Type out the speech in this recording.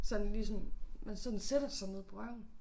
Sådan lige sådan man sådan sætter sig ned på røven